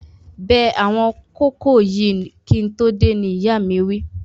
Bẹ àwọn kókò yìí kí n tó dé, ni ìyáa mi wí